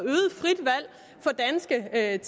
øget